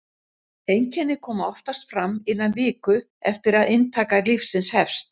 Einkenni koma oftast fram innan viku eftir að inntaka lyfsins hefst.